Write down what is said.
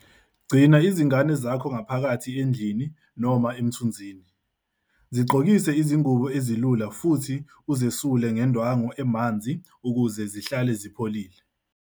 Gcina izingane zakho ngaphakathi endlini noma emthunzini, zigqokise izingubo ezilula futhi uzesule ngendwangu emanzi ukuze zihlale zipholile.